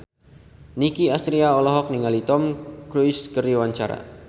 Nicky Astria olohok ningali Tom Cruise keur diwawancara